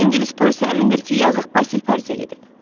İngilis polisi əmindir ki, yazıq Basil Parisə gedib.